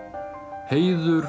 heiður